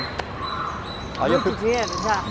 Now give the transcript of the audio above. Muito dinheiro já?